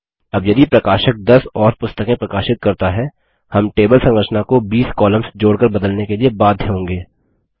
अब यदि प्रकाशक दस और पुस्तकें प्रकाशित करता है हम टेबल संरचना को 20 कॉलम्स जोड़कर बदलने के लिए बाध्य होंगे